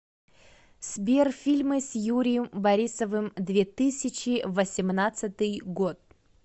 сбер фильмы с юрием борисовым две тысячи восемнадцатый год